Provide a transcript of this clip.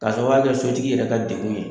Ka sɔrɔ o y'ale ka sotigi yɛrɛ ka degun ye